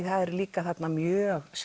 það er líka mjög